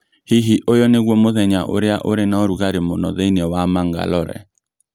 Hihi ũyũ nĩguo mũthenya ũrĩa ũrĩ na ũrugarĩ mũno thĩinĩ wa mangalore